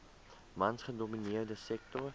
mans gedomineerde sektor